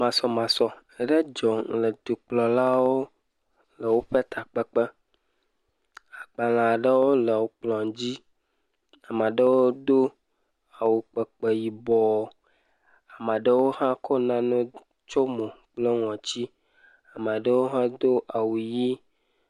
Masɔmasɔ aɖe dzɔ le dukplɔlawo le woƒe takpekpe, agbalẽ aɖewo le kplɔ̃ dzi, ame aɖewo do awu kpekpe yibɔ, ame aɖewo hã kɔ nane tsɔ mo kple ŋɔti. Ame aɖewo hã do awu ʋie.